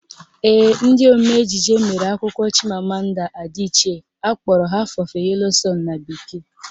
Ee, ndị omee ejije mere akwụkwọ Chimamanda Adichie akpọrọ Half of a Yellow sun na bekee